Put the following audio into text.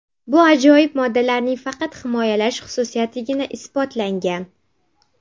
Bu ajoyib moddalarning faqat himoyalash xususiyatigina isbotlangan.